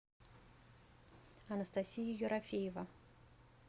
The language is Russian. анастасия ерофеева